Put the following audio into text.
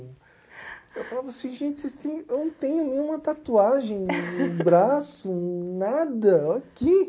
Eu falava assim, gente, vocês tem, eu não tenho nenhuma tatuagem, no braço, nada, aqui.